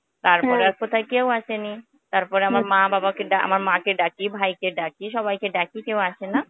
তারপরে আর কোথায় আর কেউ আসেনি. তারপরে আমার মা বাবাকে ডা আমার মাকে ডাকি ভাইকে ডাকি সবাইকে ডাকি কেউ আসেনা,